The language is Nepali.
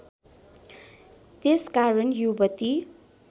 त्यसकारण युवती